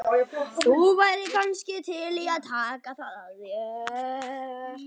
Þú værir kannski til í að taka það að þér?